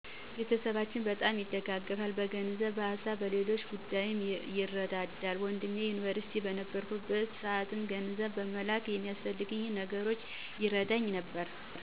ቤተሰባችን በጣም ይደጋገፋል። በገንዘብ፣ በሀሳብና በሌሎች ጉዳይም ይረዳዳል። ወንድሜ ዩኒቨርስቲ በነበርኩበት ሰዓት ገንዘብ በመላክ የሚያስፈልጉኝን ነገሮች ሲረዳኝ ነበር።